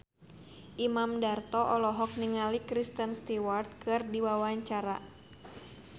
Imam Darto olohok ningali Kristen Stewart keur diwawancara